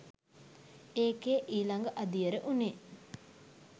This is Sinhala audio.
ඒකෙ ඊළඟ අදියර වුණේ